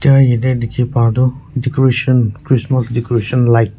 yate dikhi paa toh decoration christmas decoration light .